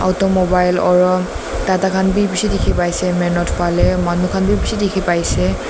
Tho mobile aro tata khan beh beshe dekhe pai ase main road phale aro manu khan beh besh dekhe pai ase.